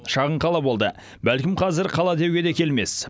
шағын қала болды бәлкім қазір қала деуге де келмес